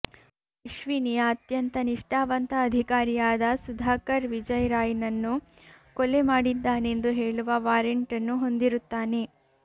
ಅಶ್ವಿನಿಯ ಅತ್ಯಂತ ನಿಷ್ಠಾವಂತ ಅಧಿಕಾರಿಯಾದ ಸುಧಾಕರ್ ವಿಜಯ್ ರಾಯ್ನನ್ನು ಕೊಲೆ ಮಾಡಿದ್ದಾನೆಂದು ಹೇಳುವ ವಾರಂಟ್ನ್ನು ಹೊಂದಿರುತ್ತಾನೆ